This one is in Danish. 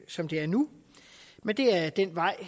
som det er nu men det er den vej